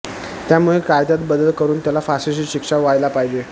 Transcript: त्यामुळे कायद्यात बदल करून त्याला फाशीची शिक्षा व्हायला पाहिजे